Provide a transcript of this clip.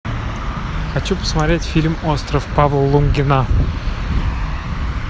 хочу посмотреть фильм остров павла лунгина